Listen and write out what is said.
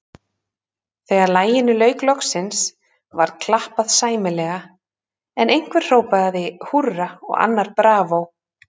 Þegar laginu lauk loksins, var klappað sæmilega, en einhver hrópaði húrra og annar bravó.